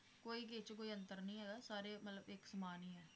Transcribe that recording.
ਕੋਈ ਕਿਛ ਕੋਈ ਅੰਤਰ ਨੀ ਹੈਗਾ, ਸਾਰੇ ਮਤਲਬ ਇਕ ਸਮਾਨ ਹੀ ਹੈ।